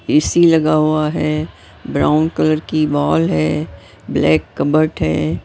AC लगा हुआ है ब्राउन कलर की वाल है ब्लैक कबर्ट है।